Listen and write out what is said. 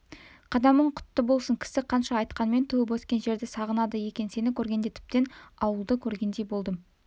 қадамың құтты болсын кісі қанша айтқанмен туып-өскен жерді сағынады екен сені көргенде тіптен ауылды көргендей болдым